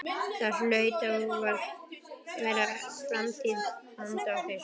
Það hlaut og varð að vera framtíð handa okkur.